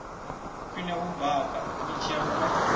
khwine u baka mitshelo na